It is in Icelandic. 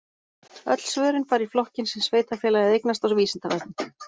Öll svörin fara í flokkinn sem sveitarfélagið eignast á Vísindavefnum.